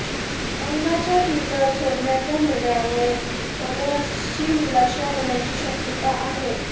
कंगनाच्या ट्विटर सोडण्याच्या निर्णयामुळे फॉलोअर्सची निराशा होण्याची शक्यता आहे